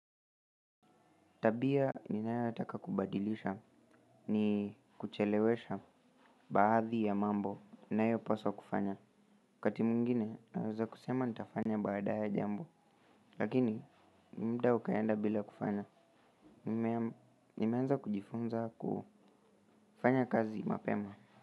Tabia ninayotaka kubadilisha ni kuchelewesha baadhi ya mambo ninayopaswa kufanya kati mwingine naweza kusema nitafanya baadaye jambo lakini mda ukaenda bila kufanya. Nimeanza kujifunza kufanya kazi mapema.